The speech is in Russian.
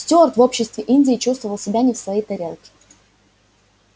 стюарт в обществе индии чувствовал себя не в своей тарелке